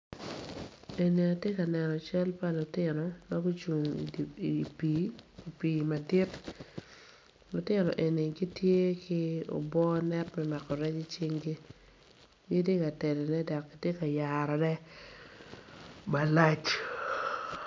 Eni atye ka neno cal pa lutino ma gucung idi pii pii madit lutino eni gitye ki obwo net me mako rec icinggi gitye ka telone dok gitye ka yarone malac.